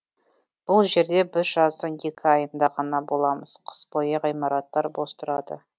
бұл жерде біз жаздың екі айында ғана боламыз қыс бойы ғимараттар бос тұрады